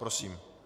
Prosím.